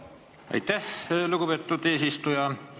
Aitäh, lugupeetud eesistuja!